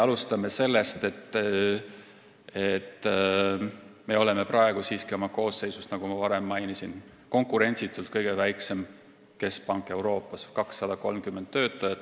Alustame sellest, et me oleme praegu oma koosseisu poolest, nagu ma varem mainisin, siiski konkurentsitult kõige väiksem keskpank Euroopas, 230 töötajat.